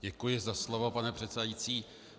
Děkuji za slovo, pane předsedající.